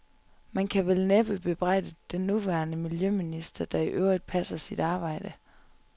Man kan vel næppe bebrejde den nuværende miljøminister, der i øvrigt passer sit arbejde.